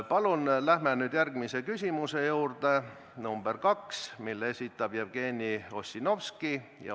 Palun läheme järgmise küsimuse juurde, mille esitab Jevgeni Ossinovski.